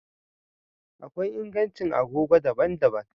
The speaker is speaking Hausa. Akwai ingancin agogo daban-daban